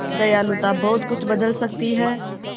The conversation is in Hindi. दयालुता बहुत कुछ बदल सकती है